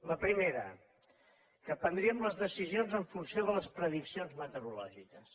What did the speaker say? la primera que prendríem les decisions en funció de les prediccions meteorològiques